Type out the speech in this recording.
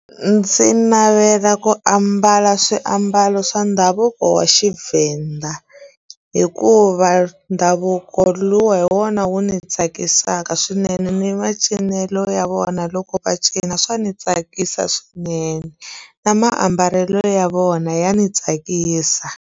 Ndzi navela ku ambala swiambalo swa ndhavuko wa Xivenda hikuva ndhavuko luwa hi wona wu ni tsakisaka swinene ni macinelo ya vona loko va cina swa ni tsakisa swinene na maambalelo ya vona ya ni tsakisa.